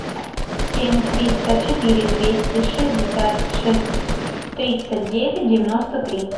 семь триста четыре двести шестьдесят шесть тридцать девять девяносто три